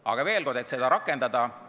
Aga veel kord, et seda rakendada...